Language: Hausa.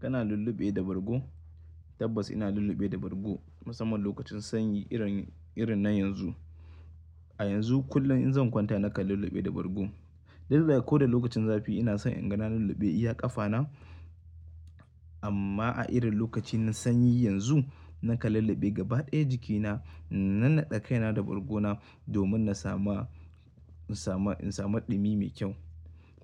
Kana lulluɓe da bargo? Tabbas ina lulluɓe da bargo, musamman lokacin sanyi, irin na yanzu. A yanzu. Kullum in zan kwanta nakan lulluɓe da bargo. Lallai ko da lokacin zafi ina son inga lulluɓe iya ƙafa na. Amma, a irin lokacin sanyi yanzu, nakan lulluɓe gaba ɗaya jikina. Nan naɗe kaina da bargo na, domin in samu ɗumi mai kyau.